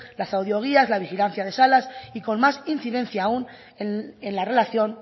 las audioguías la vigilancia de salas y con más incidencia aún en la relación